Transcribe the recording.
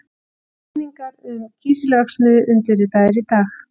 Samningar um kísilverksmiðju undirritaðir í dag